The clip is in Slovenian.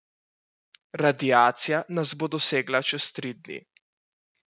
Radiacija nas bo dosegla čez tri dni.